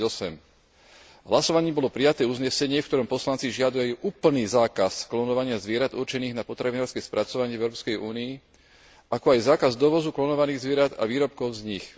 2008. V hlasovaní bolo prijaté uznesenie, v ktorom poslanci žiadajú úplný zákaz klonovania zvierat určených na potravinárske spracovanie v Európskej únii, ako aj zákaz dovozu klonovaných zvierat a výrobkov z nich.